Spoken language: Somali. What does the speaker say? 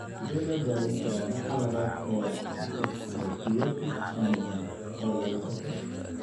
Sidee loo daweyn karaa nooca labaad ee dyserythropoietic anemia (CDA) ee lagu dhasho?